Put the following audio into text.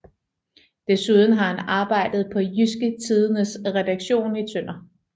Desuden har han arbejdet på Jydske Tidendes redaktion i Tønder